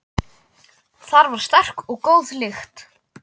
Þar var sterk og góð lykt.